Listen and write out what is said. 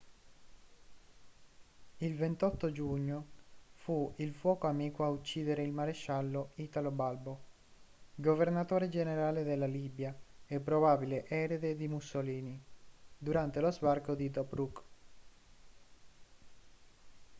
il 28 giugno fu il fuoco amico a uccidere il maresciallo italo balbo governatore generale della libia e probabile erede di mussolini durante lo sbarco a tobruk